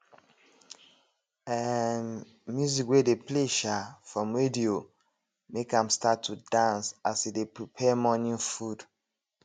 um music wey dey play um from radio make ahm start to dance as e dey prepare morning food